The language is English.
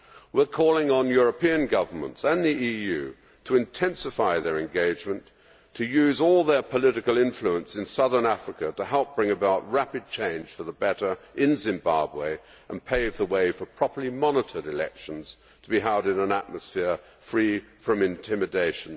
We are calling on European governments and the EU to intensify their engagement to use all their political influence in Southern Africa to help bring about rapid change for the better in Zimbabwe and pave the way for properly monitored elections to be held in an atmosphere free from intimidation.